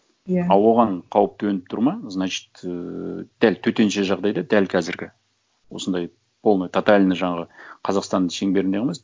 иә а оған қауіп төніп тұр ма значит ыыы дәл төтенше жағдайда дәл қазіргі осындай полный тотальный жаңағы қазақстанның шеңберінде ғана емес